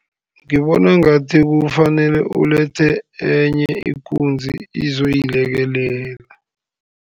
Ngibona ngathi, kufanele ulethe enye ikunzi izoyilekelela.